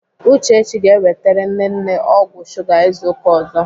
Uchechi ga-ewetere nne nne ọgwụ shuga izu ụka ọzọ.